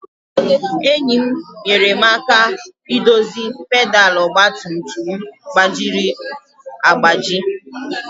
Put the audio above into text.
Enyi m nyeere m aka idozi pedal ọgba tum tum m gbajiri agbaji.